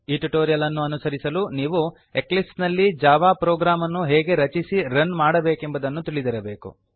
ಈ ಟ್ಯುಟೋರಿಯಲ್ ಅನ್ನು ಅನುಸರಿಸಲು ನೀವು ಎಕ್ಲಿಪ್ಸ್ ನಲ್ಲಿ ಜಾವಾ ಪ್ರೊಗ್ರಾಮ್ ಅನ್ನು ಹೇಗೆ ರಚಿಸಿ ರನ್ ಮಾಡಬೇಕೆಂಬುದನ್ನು ತಿಳಿದಿರಬೇಕು